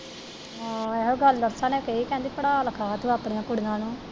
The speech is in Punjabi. ਹਾਂ ਇਹ ਗੱਲ ਬਬਤਾ ਨੇ ਕਹੀ ਕਹਿੰਦੀ ਪੜ੍ਹਾ ਲਿਖਾ ਤੂੰ ਆਪਣੀ ਕੁੜੀਆਂ ਨੂੰ।